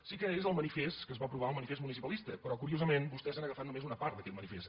sí que és el manifest que es va aprovar el manifest municipalista però curiosament vostès han agafat només una part d’aquest manifest